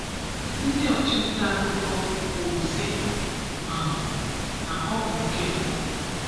Ndị "ọchị nta akụkọ" kwuru sị um na ọ bụ nke mbụ.